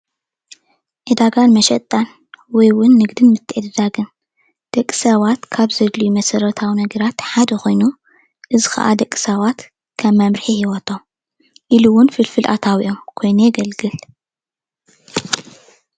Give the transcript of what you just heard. ዕዳጋን መሸጣን ወይ እውን ንግድን ምትዕድዳግን ደቂ ሰባት ካብ ዘድልዩ መሰረታዊ ነገራት ሓደ ኮይኑ እዚ ከዓ ደቂ ሰባት ከም መምርሒ ሂወቶም ኢሉ እውን ፍልፍል ኣታዊኦም ኮይኑ የገልግል፡፡